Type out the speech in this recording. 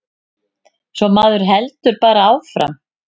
Svo maður heldur bara áfram.